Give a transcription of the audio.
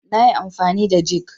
nayi amfani da jig